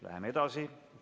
Läheme edasi.